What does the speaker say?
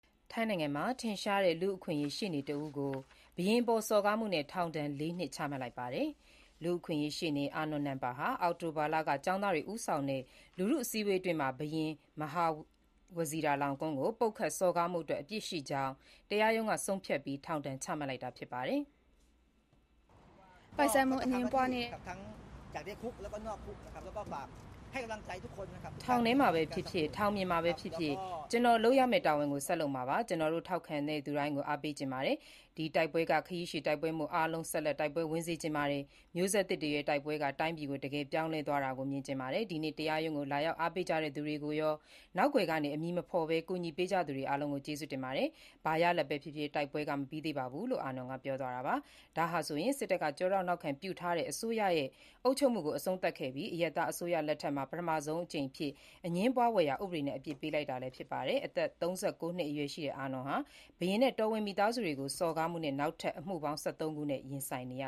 ထိုင်းနိုင်ငံမှာ ထင်ရှားတဲ့ လူ့အခွင့်အရေး ရှေ့နေတဦးကို ဘုရင်အပေါ် စော်ကားမှုနဲ့ ထောင်ဒဏ် ၄ နှစ် ချမှတ်လိုက်ပါတယ်။ လူ့အခွင့်အရေး ရှေ့နေ အာနွန်နမ်ပါဟာ အောက်တိုဘာလက ကျောင်းသားတွေ ဦးဆောင်တဲ့ လူထုစုဝေးပွဲအတွင်းမှာ ဘုရင် မဟာဝဇီရာလောင်ကွန်း ကို ပုတ်ခတ်စော်ကားမှုအတွက် အပြစ်ရှိကြောင်း တရားရုံးက ဆုံးဖြတ်ပြီး ထောင်ဒဏ်ချမှတ်လိုက်တာဖြစ်ပါတယ်။ “ထောင်ထဲမှာပဲဖြစ်ဖြစ်၊ ထောင်ပြင်မှာပဲဖြစ်ဖြစ် ကျနော်လုပ်ရမယ့် တာဝန်ကို ဆက်လုပ်မှာပါ။ ကျွန်တော့်ကို ထောက်ခံတဲ့သူတိုင်းကို အားပေးချင်ပါတယ်။ ဒီတိုက်ပွဲက ခရီးရှည်တိုက်ပွဲမို့ အားလုံး ဆက်လက်တိုက်ပွဲဝင်စေချင်ပါတယ်။ မျိုးဆက်သစ်တွေရဲ့ တိုက်ပွဲက တိုင်းပြည်ကို တကယ်ပြောင်းလဲသွားတာကို မြင်ချင်ပါတယ်။ ဒီနေ့ တရားရုံးကို လာရောက်အားပေးကြတဲ့သူတွေကိုရော၊ နောက်ကွယ်ကနေ အမည်မဖော်ပဲ ကူညီပေးကြသူတွေအားလုံးကို ကျေးဇူးတင်ပါတယ်။ ဘာရလဒ်ပဲ ဖြစ်ဖြစ် တိုက်ပွဲက မပြီးသေးပါဘူး။” လို့ အာနွန်က ပြောသွားတာပါ။ ဒါဟာဆိုရင် စစ်တပ်က ကျောထောက်နောက်ခံပြုထားတဲ့ အစိုးရရဲ့ အုပ်ချုပ်မှု အဆုံးသတ်ခဲ့ပြီး၊ အရပ်သားအစိုးရလက်ထက်မှာ ပထမဆုံးအကြိမ်အဖြစ် အငြင်းပွားဖွယ်ရာ ဥပဒေနဲ့ အပြစ်ပေးလိုက်တာလည်း ဖြစ်ပါတယ်။ အသက် ၃၉ နှစ်အရွယ်ရှိတဲ့ အာနွန်ဟာ ဘုရင်နဲ့ တော်ဝင်မိသားစုဝင်တွေကို စော်ကားမှုနဲ့ နောက်ထပ် အမှုပေါင်း ၁၃ ခုနှင့် ရင်ဆိုင်နေရ